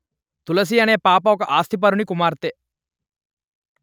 తులసి అనే పాప ఒక ఆస్తిపరుని కుమార్తె